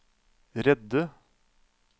redde